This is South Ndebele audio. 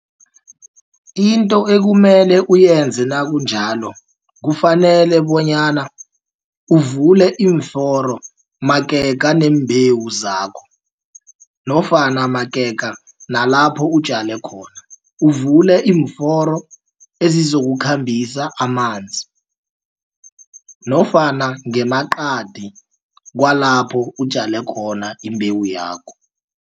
Into ekumele uyenze nakunjalo, kufanele bonyana uvule iimforo magega neembewu zakho nofana magega nalapho utjale khona uvule iimforo ezizokukhambisa amanzi nofana ngemaqadi kwalapho utjale khona imbewu yakho.